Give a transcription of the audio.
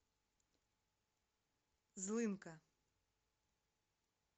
злынка